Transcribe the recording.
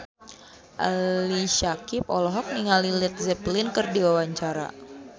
Ali Syakieb olohok ningali Led Zeppelin keur diwawancara